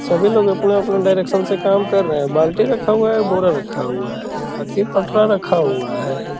सभी लोग अपना-अपना डायरेक्शन से काम कर रहे हैं बाल्टी रखा हुआ है बोरा रखा हुआ है आगे पटरा रखा हुआ है।